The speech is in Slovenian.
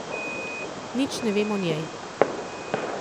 Nič ne vem o njej.